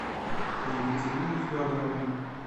екатерине федоровне